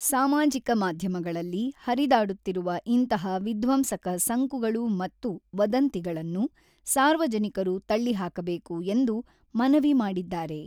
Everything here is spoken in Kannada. ಸಾಮಾಜಿಕ ಮಾಧ್ಯಮಗಳಲ್ಲಿ ಹರಿದಾಡುತ್ತಿರುವ ಇಂತಹ ವಿಧ್ವಂಸಕ ಸಂಕುಗಳು ಮತ್ತು ವದಂತಿಗಳನ್ನು ಸಾರ್ವಜನಿಕರು ತಳ್ಳಿಹಾಕಬೇಕು ಎಂದು ಮನವಿ ಮಾಡಿದ್ದಾರೆ.